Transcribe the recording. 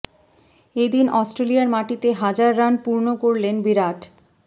এ দিন অস্ট্রেলিয়ার মাটিতে হাজার রান পূর্ণ করলেন বিরাট